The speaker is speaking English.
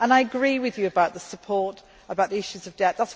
I agree with you about the support and the issues of debt.